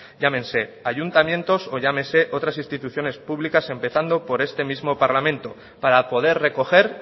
llámense ayuntamientos o llámense otras instituciones públicas empezando por este mismo parlamento para poder recoger